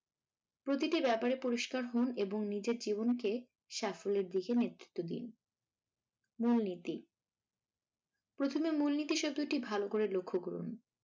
প্রতিটা ব্যাপারে পরিষ্কার হন এবং নিজের জীবনকে সাফল্যের দিকে নেতৃত্ব দিন। মূলনীতি প্রথমে মূলনীতি শব্দটি ভালো করে লক্ষ করুন।